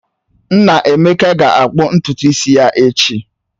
Nnaemeka ga-akpụ ntutu isi ya echi